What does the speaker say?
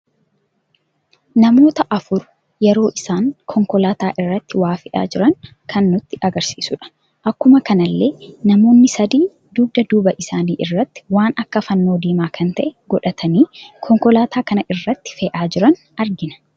Namoota afur yeroo isaan konkoolaata irratti waa fe'aa jiran kan nutti agarsiisuudha. Akkuma kanallee namoonni sadii dugda duuba isaani irratti waan akka fannoo diimaa kan ta'e godhatani konkoolaata kana irratti fe'aa jiran argina.